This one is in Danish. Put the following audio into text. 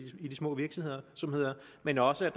små virksomheder men også